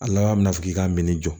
A laban mɛna fɔ k'i ka min jɔ